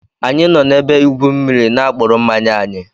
Anyi no na-ebe igwu mmiri n'apkuru mmanya anyi